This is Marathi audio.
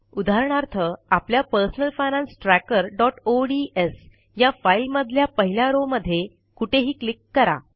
उदाहरणार्थ आपल्या पर्सनल फायनान्स trackerओडीएस ह्या फाईलमधल्या पहिल्या रो मध्ये कुठेही क्लिक करा